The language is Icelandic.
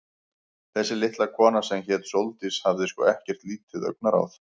Þessi litla kona, sem hét Sóldís, hafði sko ekkert lítið augnaráð.